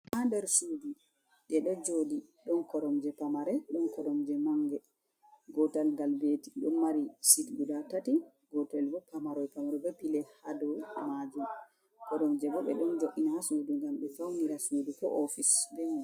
Haa nder suudi ɗe ɗo jooɗi, ɗon koromje pamare ɗon koromje mannge. Gootal ngal beeti ɗo mari "sit" gudaa tati. Gootel bo pamaroy, pamaroy bee pile ha dow maajum. Koromje bo ɓe ɗon jo’ina ha suudu ngam ɓe fawnira suudu koo "oofis" bee may.